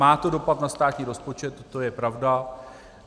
Má to dopad na státní rozpočet, to je pravda.